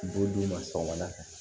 B'u d'u ma sɔgɔmada fɛ